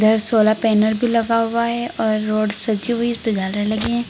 ये solar panel भी लगा हुआ है और रोड सजी हुई इस पर झालर लगे हैं।